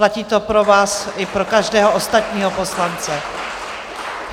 Platí to pro vás i pro každého ostatního poslance.